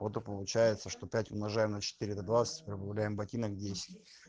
вот и получается что пять умножаем на четыре это двадцать и прибавляем ботинок десять